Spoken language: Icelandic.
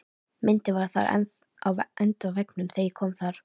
Myndin var þar enn á endavegg þegar ég kom þar